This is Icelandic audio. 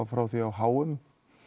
frá því á h m